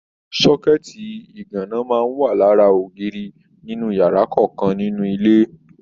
Sọkẹ̀tí iganna máa n wà lára ògiri inú yàrá kọọkan nínú ilé.